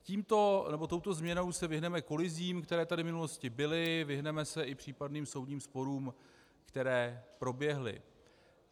Touto změnou se vyhneme kolizím, které tady v minulosti byly, vyhneme se i případným soudním sporům, které proběhly.